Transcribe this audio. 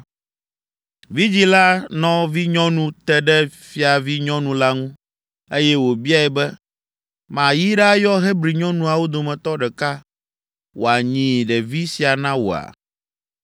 Vidzĩ la nɔvinyɔnu te ɖe fiavinyɔnu la ŋu, eye wòbiae be, “Mayi ɖayɔ Hebri nyɔnuawo dometɔ ɖeka wòanyi ɖevi sia na wòa?”